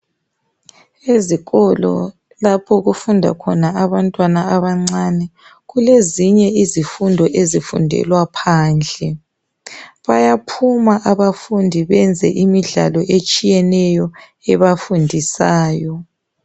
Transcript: ezikolo lapho okufunda khona abantwana abancane kulezinye izifundo ezifundelwa phandle bayaphuma abafundi benze imidlalo etshiyeneyo ebafundisayo